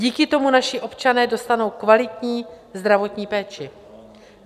Díky tomu naši občané dostanou kvalitní zdravotní péči.